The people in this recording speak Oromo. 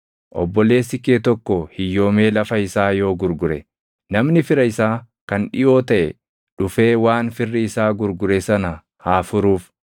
“ ‘Obboleessi kee tokko hiyyoomee lafa isaa yoo gurgure, namni fira isaa kan dhiʼoo taʼe dhufee waan firri isaa gurgure sana haa furuuf.